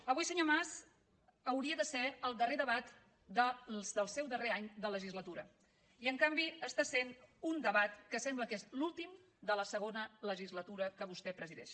avui senyor mas hauria de ser el darrer debat del seu darrer any de legislatura i en canvi està sent un debat que sembla que és l’últim de la segona legislatura que vostè presideix